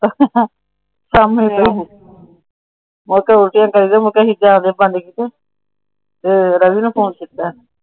ਕੰਮ ਏਦਾਂ ਦੇ ਆ। ਮੁੜ ਕੇ ਉਲਟੀਆਂ ਕਰਦਾ ਸੀ । ਤੇ ਰਵੀ ਨਾ ਫੋਨ ਕੀਤਾ।